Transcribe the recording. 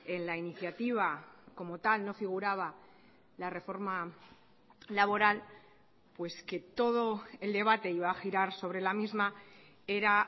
en la iniciativa como tal no figuraba la reforma laboral pues que todo el debate iba a girar sobre la misma era